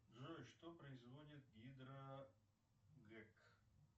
джой что производит гидро гэк